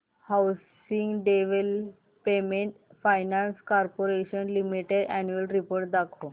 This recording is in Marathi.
housing development finance corporation limited annual report दाखव